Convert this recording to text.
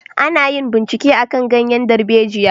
A na yin bincike akan ganyen darbejiya